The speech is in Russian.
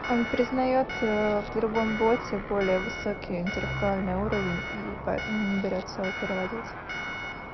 он признаёт в другом боте более высокий интеллектуальный уровень и поэтому не берётся его переводить